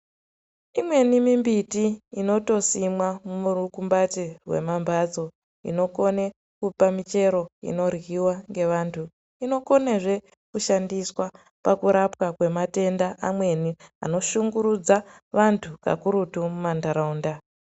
Imweni mimbiti inotosimwa murukumbati rwemambatso inokone kupa michero inoryiwa ngevantu inokonazve kushandiswa pakurapawa kwematenda amweni anoshungurudza vantu kakurutu mumanharaunda.